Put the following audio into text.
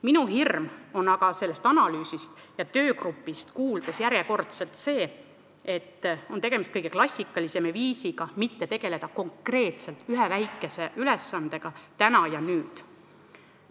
Minu hirm on aga sellest analüüsist ja töögrupist kuuldes see, et järjekordselt on tegemist kõige klassikalisema viisiga mitte tegeleda konkreetselt ühe väikese ülesandega täna ja nüüd.